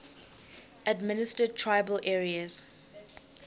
administered tribal areas